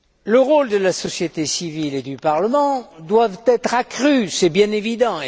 Le rôle de la société civile et du Parlement doivent être accrus, c'est bien évident.